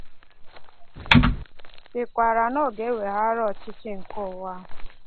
sịkwara na ọ ga-eweghara ọchịchị nke ụwa a.